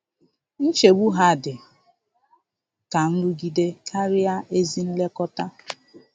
Nchegbu ha dị ka nrụgide karịa ezi nlekọta.